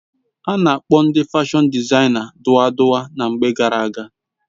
Ana akpobu ndi fashon dizaina duwa duwa na mgbe gara aga